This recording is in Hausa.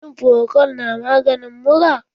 Shin Frokol na maganin mura?